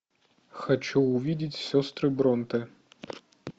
хочу увидеть сестры бронте